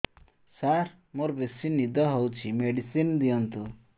ସାର ମୋରୋ ବେସି ନିଦ ହଉଚି ମେଡିସିନ ଦିଅନ୍ତୁ